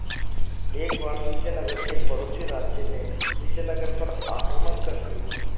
एक बार विजयनगर के पड़ोसी राज्य ने विजयनगर पर आक्रमण कर दिया